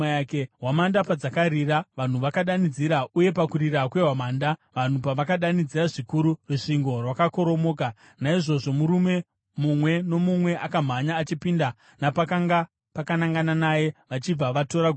Hwamanda padzakarira, vanhu vakadanidzira, uye pakurira kwehwamanda, vanhu pavakadanidzira zvikuru, rusvingo rwakakoromoka; naizvozvo murume mumwe nomumwe akamhanya achipinda napakanga pakanangana naye, vachibva vatora guta.